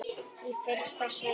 Í fyrsta sinnið.